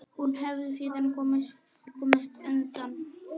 Hún hafi síðan komist undan.